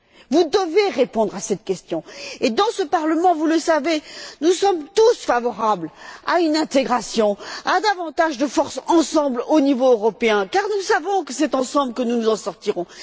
Vous devez répondre à cette question. Dans ce Parlement, vous le savez, nous sommes tous favorables à une intégration, à davantage de force ensemble au niveau européen, car nous savons que c'est ensemble que nous nous en sortirons.